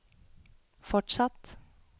fortsatt